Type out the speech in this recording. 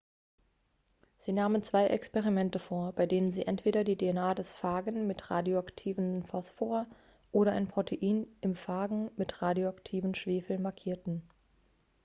sie nahmen zwei experimente vor bei denen sie entweder die dna des phagen mit radioaktiven phosphor oder ein protein im phagen mit radioaktiven schwefel markierten